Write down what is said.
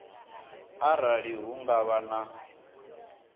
arali hu nga vha na